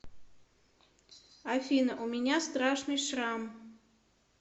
афина у меня страшный шрам